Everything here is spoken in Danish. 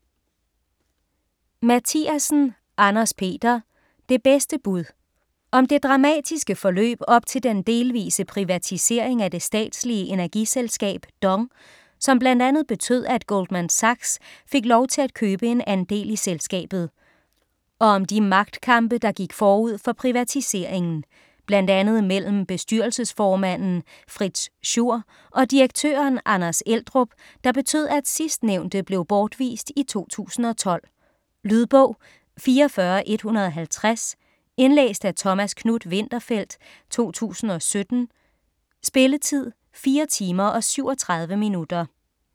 Mathiasen, Anders-Peter: Det bedste bud Om det dramatisk forløb op til den delvise privatisering af det statslige energiselskab DONG, som bl.a. betød at Goldman Sachs fik lov til at købe en andel i selskabet. Og om de magtkampe der gik forud for privatiseringen. Blandt andet mellem bestyrelseformanden Fritz Schur og direktøren Anders Eldrup, der betød at sidstnævnte blev bortvist i 2012. Lydbog 44150 Indlæst af Thomas Knuth-Winterfeldt, 2017. Spilletid: 4 timer, 37 minutter.